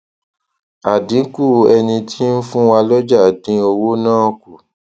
adínkù ẹni tí ń fún wa lójà dín owó náà kù